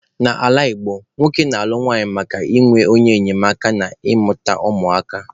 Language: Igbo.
N'ala Igbo, nwoke na-alụ nwunye maka inwe onye enyemaka na ịmụta ụmụ aka